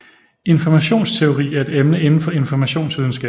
Informationsteori er et emne inden for informationsvidenskab